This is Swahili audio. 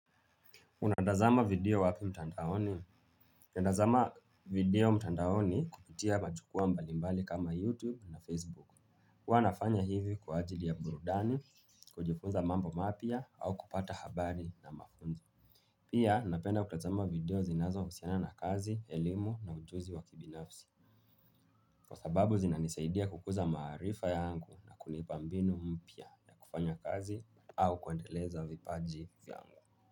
Unatazama video wapi mtandaoni? Natazama video mtandaoni kupitia majukua mbalimbali kama YouTube na Facebook. Huwa nafanya hivi kwa ajili ya burudani, kujifunza mambo mapya au kupata habari na mafunzo. Pia napenda kutazama video zinazohusiana na kazi, elimu na ujuzi wa kibinafsi. Kwa sababu zinanisaidia kukuza maarifa yangu na kunipa mbinu mpya na kufanya kazi au kuendeleza vipaji vyangu.